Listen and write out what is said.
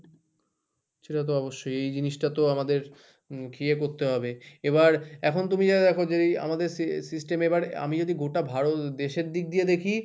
সেটা তো অবশ্যই এই জিনিসটা তো আমাদের ইয়ে করতে হবে এবার এখন তুমি যা দেখো যে আমাদের system এবার আমি যদি গোটা ভারত দেশের দিক দিয়ে দেখি,